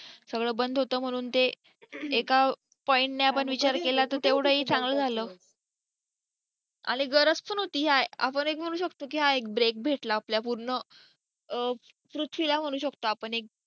सगळं बंद होतं म्हणून ते एका point ने आपण विचार केला तर तेवढा हे चांगल झालं आणि गरज पण होती आपण हे एक बोलू शकतो की हा एक break भेटला आपल्या पूर्ण पृथ्वीला म्हणू शकतो आपण एक